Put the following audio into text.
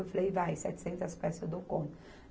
Eu falei, vai, setecentas peças, eu dou conta.